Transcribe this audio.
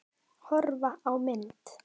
Horfa á mynd